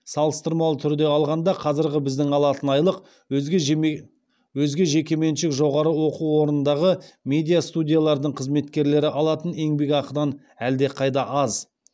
салыстырмалы түрде алғанда қазіргі біздің алатын айлық өзге жекеменшік жоғары оқу орнындағы медиа студиялардың қызметкерлері алатын еңбекақыдан әлдеқайда аз